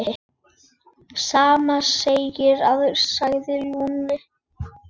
Sama segi ég sagði Lúlli.